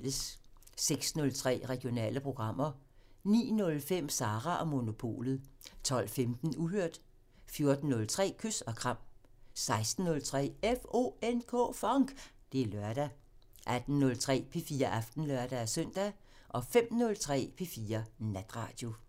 06:03: Regionale programmer 09:05: Sara & Monopolet 12:15: Uhørt 14:03: Kys og kram 16:03: FONK! Det er lørdag 18:03: P4 Aften (lør-søn) 05:03: P4 Natradio